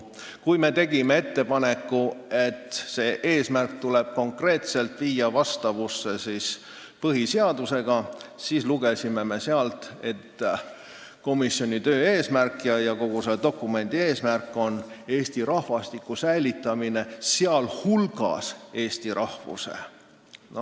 Kui me tegime ettepaneku, et see eesmärk tuleb viia konkreetselt vastavusse põhiseadusega, siis lugesime, et komisjoni töö ja kogu selle dokumendi eesmärk on Eesti rahvastiku, sh eesti rahvuse säilitamine.